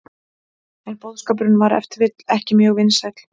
En boðskapurinn var ef til vill ekki mjög vinsæll.